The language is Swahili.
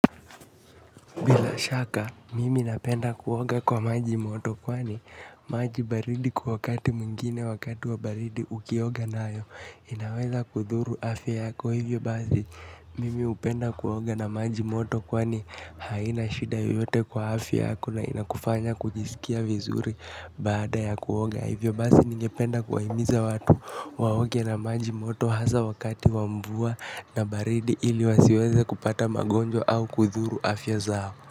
Bila shaka mimi napenda kuoga kwa maji moto kwani maji baridi kwa wakati muingine wakati wa baridi ukioga nayo inaweza kudhuru afya yako hivyo bazi mimi upenda kuoga na maji moto kwani haina shida yote kwa afya yako na inakufanya kujisikia vizuri baada ya kuoga hivyo bazi ningependa kuwaimiza watu waoge na maji moto haza wakati wamvua na baridi ili wasiweze kupata magonjwa au kudhuru afya zao.